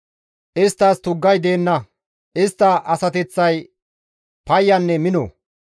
Isttas tuggay deenna; istta asateththay payyanne mino.